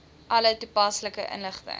alle toepaslike inligting